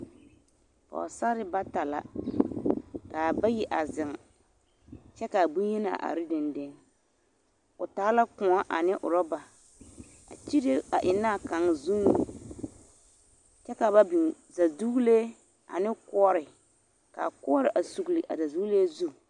Pɔgesarre bata la k'a bayi a zeŋ kyɛ k'a bonyenaa are dendeŋ, o taa la kõɔ ane orɔba a kyire a ennaa kaŋ zuŋ kyɛ ka biŋ zɛdogelee ane koɔre k'a koɔre sugili a zɛdogelee zu.